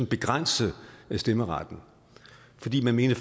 begrænse stemmeretten fordi man mente